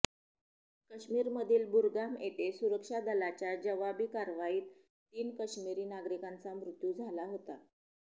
काश्मीरमधील बुरगाम येथे सुरक्षा दलाच्या जवाबी कारवाईत तीन काश्मिरी नागरिकांचा मृत्यू झाला होता